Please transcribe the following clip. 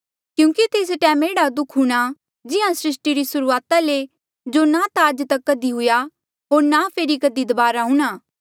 क्यूंकि तेस टैम एह्ड़ा दुःख हूंणा जिहां सृस्टी री सुरूआता ले जो ना ता आज तक कधी हुआ होर ना फेरी दबारा कधी हूंणा